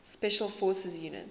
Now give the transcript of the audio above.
special forces units